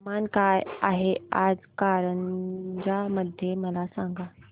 तापमान काय आहे आज कारंजा मध्ये मला सांगा